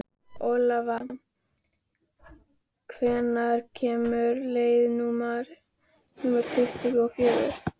Olav, hvenær kemur leið númer tuttugu og fjögur?